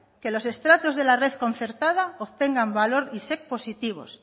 que los estratos de la red concertada obtengan valor isec positivos